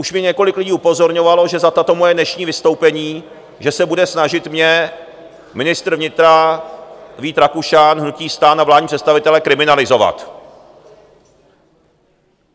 Už mě několik lidí upozorňovalo, že za tato moje dnešní vystoupení, že se bude snažit mě ministr vnitra Vít Rakušan, hnutí STAN a vládní představitelé kriminalizovat.